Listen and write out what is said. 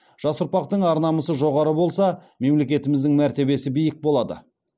жас ұрпақтың ар намысы жоғары болса мемлекетіміздің мәртебесі биік болады